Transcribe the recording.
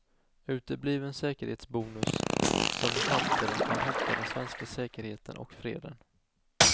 Utebliven säkerhetsbonus som i framtiden kan hota den svenska säkerheten och freden.